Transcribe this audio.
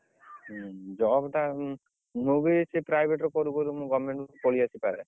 ହୁଁ job ଟା ମୁଁ ବି ସେଇ private ରୁ କରି କରି ମୁଁ government କରି ଆସି ପାରେ